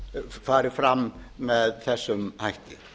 fari fram með þessum hætti